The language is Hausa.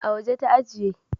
A waje ta ajiye